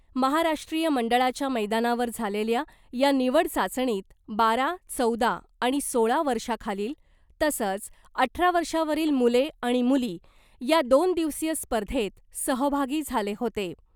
महाराष्ट्रीय मंडळाच्या मैदानावर झालेल्या या निवड चाचणीत बारा , चौदा आणि सोळा वर्षाखालील तसंच अठरा वर्षावरील मुले आणि मुली या दोन दिवसीय स्पर्धेत सहभागी झाले होते .